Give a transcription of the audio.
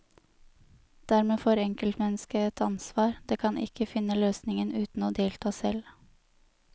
Dermed får enkeltmennesket et ansvar, det kan ikke finne løsningen uten å delta selv.